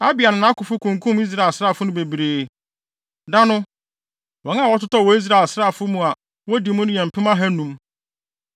Abia ne nʼakofo kunkum Israel asraafo no bebree. Da no, wɔn a wɔtotɔɔ wɔ Israel asraafo a wodi mu mu no yɛ mpem ahannum.